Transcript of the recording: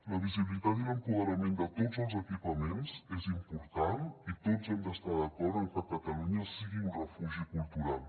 la visibilitat i l’empoderament de tots els equipaments és important i tots hem d’estar d’acord en que catalunya sigui un refugi cultural